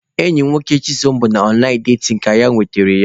Enyi nwoke Chisom bụ na ọnlaịn datin ka ọ nwetara ya.